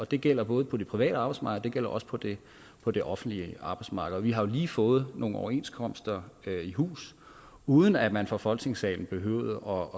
det gælder både på det private arbejdsmarked og det gælder også på det på det offentlige arbejdsmarked vi har lige fået nogle overenskomster i hus uden at man fra folketingssalen behøvede